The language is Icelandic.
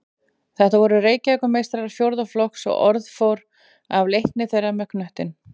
Þetta voru Reykjavíkurmeistarar fjórða flokks og orð fór af leikni þeirra með knöttinn.